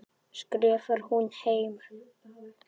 skrifar hún heim.